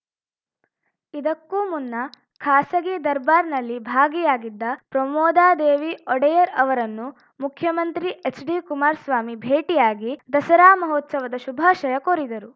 ಇದಕ್ಕೂ ಮುನ್ನ ಖಾಸಗಿ ದರ್ಬಾರ್‌ನಲ್ಲಿ ಭಾಗಿಯಾಗಿದ್ದ ಪ್ರಮೋದಾದೇವಿ ಒಡೆಯರ್‌ ಅವರನ್ನು ಮುಖ್ಯಮಂತ್ರಿ ಎಚ್‌ಡಿ ಕುಮಾರಸ್ವಾಮಿ ಭೇಟಿಯಾಗಿ ದಸರಾ ಮಹೋತ್ಸವದ ಶುಭಾಶಯ ಕೋರಿದರು